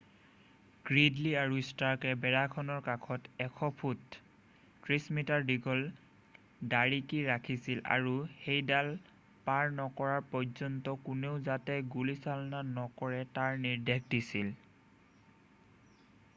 Gridley আৰু ষ্টাৰ্কে বেৰাখনৰ কাষত 100 ফুট 30 মি দীঘল দাৰিকী ৰাখিছিলে আৰু সেইডাল পাৰ নকৰাৰ পৰ্যন্ত কোনেও যাতে গুলীচালনা নকৰে তাৰ নিৰ্দেশ দিছিলে।